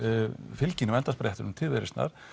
fylginu á endasprettinum til Viðreisnar